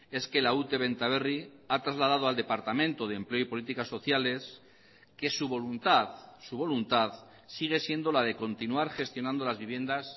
es que la ute benta berri ha trasladado al departamento de empleo y políticas sociales que su voluntad su voluntad sigue siendo la de continuar gestionando las viviendas